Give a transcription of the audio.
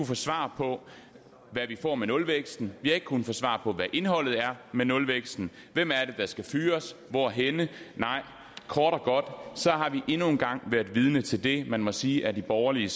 få svar på hvad vi får med nulvæksten vi har ikke kunnet få svar på hvad indholdet er med nulvæksten hvem er det der skal fyres og hvorhenne nej kort og godt har vi endnu en gang været vidne til det man må sige er de borgerlige